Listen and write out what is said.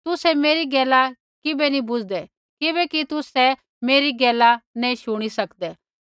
तुसै मेरी गैला किबै नैंई बूझदै किबैकि तुसै मेरै गैला शुणी नैंई सकदै